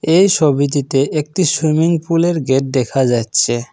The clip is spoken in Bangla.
এই সবিটিতে একটি সুইমিংপুলের গেট দেখা যাচ্ছে।